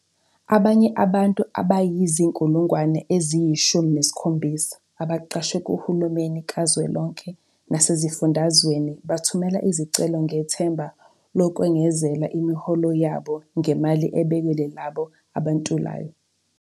Abanye abantu abayizi-17 000 abaqashwe kuhulumeni kazwelonke nasezifundazweni bathumela izicelo ngethemba lokwengezela imiholo yabo ngemali ebekelwe labo abantulayo.